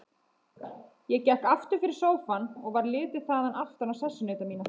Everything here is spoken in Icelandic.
Ég gekk aftur fyrir sófann og varð litið þaðan aftan á sessunauta mína.